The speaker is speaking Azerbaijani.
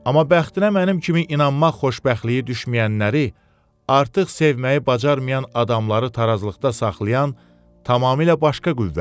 Amma bəxtinə mənim kimi inanmaq xoşbəxtliyi düşməyənləri artıq sevməyi bacarmayan adamları tarazlıqda saxlayan tamamilə başqa qüvvədir.